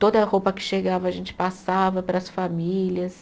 Toda roupa que chegava, a gente passava para as famílias.